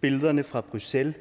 billederne fra bruxelles